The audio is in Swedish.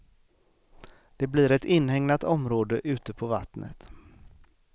Det blir ett inhägnat område ute på vattnet.